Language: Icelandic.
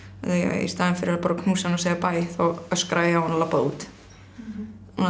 í staðin fyrir að bara knúsa hann og segja bæ þá öska ég á hann og labba út